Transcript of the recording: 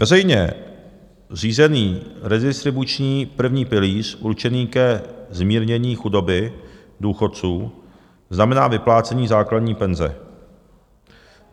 Veřejně řízený redistribuční první pilíř určený ke zmírnění chudoby důchodců znamená vyplácení základní penze.